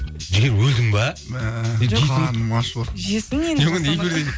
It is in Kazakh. жігер өлдің бе мә қарным ашыватыр жесін